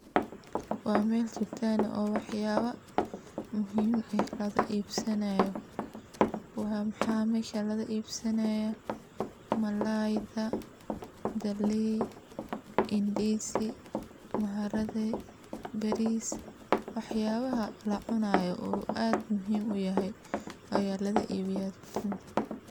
Waa meel dukaan aah oo wax yaba muhiim eh laga iibsanayo, waa maxa mesha laga iibsanayaa malayda, galey, indizi , maharage, bariis wax yabaha laa cunaay oo aad muhiim u yahay aya la ga iibiya dukan kan.